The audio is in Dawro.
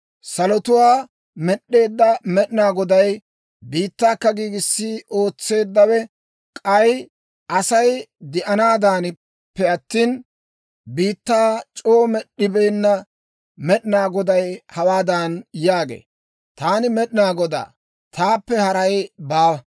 Salotuwaa med'd'eedda Med'inaa Goday, biittaakka giigissiide ootseeddawe, k'ay Asay de'anaadaanappe attina, biittaa c'oo med'd'ibeenna Med'inaa Goday hawaadan yaagee; «Taani Med'inaa Godaa; taappe haray baawa;